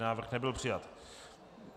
Návrh nebyl přijat.